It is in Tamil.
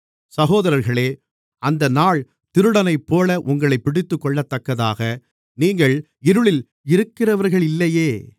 சகோதரர்களே அந்த நாள் திருடனைப்போல உங்களைப் பிடித்துக்கொள்ளத்தக்கதாக நீங்கள் இருளில் இருக்கிறவர்களில்லையே